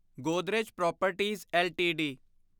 Godrej properties LTD